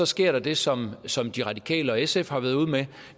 sker der det som som de radikale og sf har været ude med